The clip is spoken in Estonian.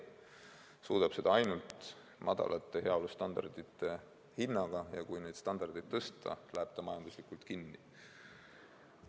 Seda suudetakse ainult madalate heaolustandardite hinnaga, ja kui neid standardeid tõsta, lähevad farmid majanduslikel põhjustel kinni.